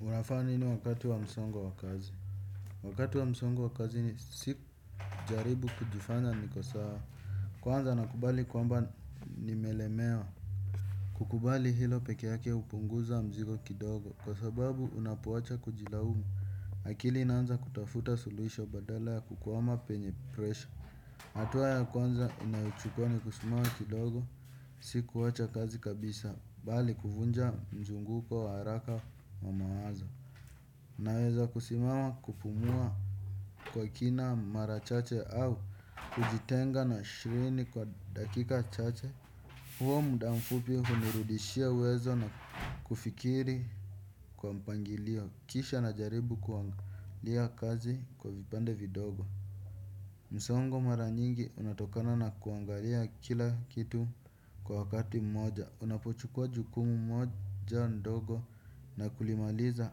Unafanya nini wakati wa msongo wa kazi. Wakati wa msongo wa kazi sijaribu kujifanya niko sawa. Kwanza nakubali kwamba nimelemewa. Kukubali hilo pekee yake hupunguza mzigo kidogo. Kwa sababu unapowacha kujilaumu. Akili inanza kutafuta suluhisho badala ya kukwama penye presha. Hatua ya kwanza ninayochukua ni kusimama kidogo. Sikuwacha kazi kabisa. Bali kuvunja mzunguko wa haraka wa mawazo. Naweza kusimama kupumua kwa kina mara chache au kujitenga na shughuli kwa dakika chache. Huo muda mfupi hunirudishia uwezo na kufikiri kwa mpangilio kisha najaribu kuangalia kazi kwa vipande vidogo. Msongo mara nyingi unatokana na kuangalia kila kitu kwa wakati mmoja. Unapochukua jukumu moja ndogo na kulimaliza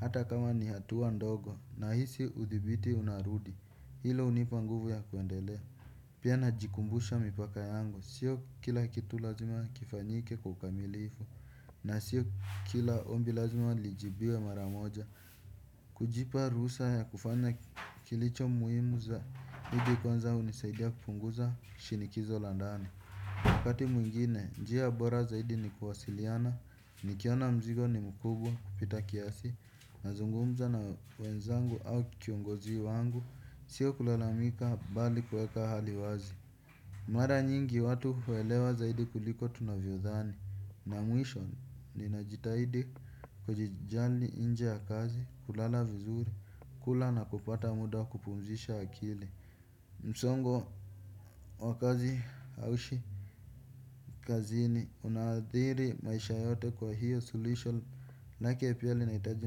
hata kama ni hatua ndogo nahisi udhibiti unarudi hilo hunipa nguvu ya kuendelea. Pia najikumbusha mipaka yangu siyo kila kitu lazima kifanyike kwa ukamilifu. Na siyo kila ombi lazima lijibiwe mara moja. Kujipa ruhusa ya kufanya kilicho muhimu zaidi kwanza hunisaidia kupunguza shinikizo la ndani wakati mwingine, njia bora zaidi ni kuwasiliana, nikiona mzigo ni mkubwa kupita kiasi. Nazungumza na wenzangu au kiongozi wangu, siyo kulalamika bali kuweka hali wazi. Mara nyingi watu huelewa zaidi kuliko tunavyodhani. Na mwisho ninajitahidi kujijali nje ya kazi kulala vizuri kula na kupata muda kupumzisha akili. Msongo wa kazi hauishi kazini unathiri maisha yote kwa hivyo suluhisho maanake pia linahitaji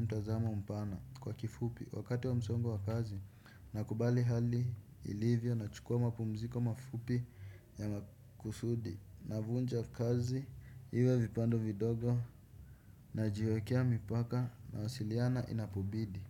mtazamo mpana kwa kifupi. Wakati wa msongo wa kazi nakubali hali ilivyo nachukua mapumziko mafupi ya makusudi. Navunja kazi iwe vipande vidogo najiwekea mipaka nawasiliana inapobidi.